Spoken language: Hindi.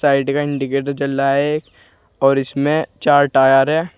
साइड का इंडिकेटर जल रहा है और इसमें चार टायर है।